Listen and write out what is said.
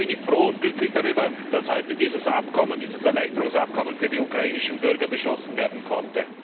Daher bin ich froh und glücklich darüber, dass heute dieses Erleichterungsabkommen für die ukrainischen Bürger beschlossen werden konnte.